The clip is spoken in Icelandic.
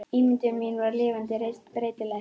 Ímyndun mín var lifandi, reist, breytileg.